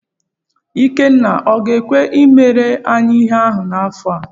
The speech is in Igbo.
Ikenna ọ ga-ekwe i mere anyị ihe ahụ n'afọ a?